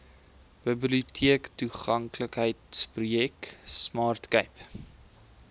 biblioteektoeganklikheidsprojek smart cape